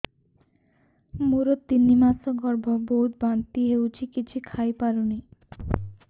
ମୋର ତିନି ମାସ ଗର୍ଭ ବହୁତ ବାନ୍ତି ହେଉଛି କିଛି ଖାଇ ପାରୁନି